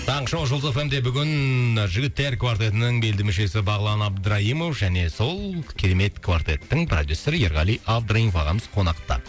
таңғы шоу жұлдыз эф эм де бүгін жігіттер квартетінің белді мүшесі бағлан абдраимов және сол керемет квартеттің продюссеры ерғали абдраимов ағамыз қонақта